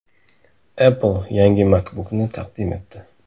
Apple yangi MacBook’ni taqdim etdi.